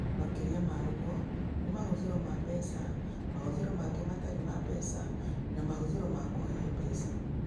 Makĩria ma ũguo, nĩ mahũthĩro ma mbeca, mahũthĩro mangĩ matarĩ ma mbeca, na mahũthĩro ma kũheo mbeca.